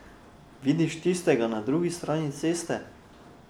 Vidiš tistega na drugi strani ceste?